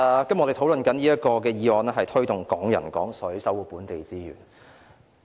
主席，我們今天討論的議案題為"推動'港人港水'，守護本地資源"。